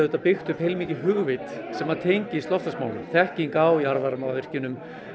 byggt upp heilmikið hugvit sem að tengist loftslagsmálum þekking á jarðvarmavirkjunum